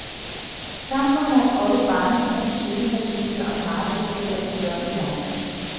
Samfundet har droppet barnetroens syndefaldsmyte og paradishåb ad guddommelig vej.